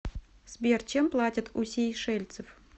сбер чем платят у сейшельцев